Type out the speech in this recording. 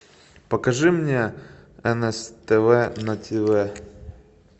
покажи мне нств на тв